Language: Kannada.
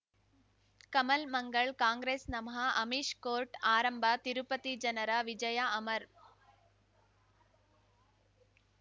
ಕಮಲ್ ಮಂಗಳ್ ಕಾಂಗ್ರೆಸ್ ನಮಃ ಅಮಿಷ್ ಕೋರ್ಟ್ ಆರಂಭ ತಿರುಪತಿ ಜನರ ವಿಜಯ ಅಮರ್